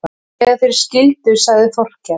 Þegar þeir skildu sagði Þórkell